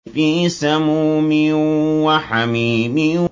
فِي سَمُومٍ وَحَمِيمٍ